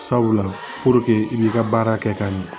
Sabula i b'i ka baara kɛ ka ɲɛ